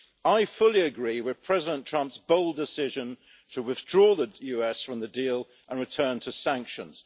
I fully agree with President Trump's bold decision to withdraw the US from the deal and return to sanctions.